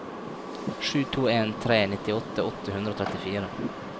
sju to en tre nittiåtte åtte hundre og trettifire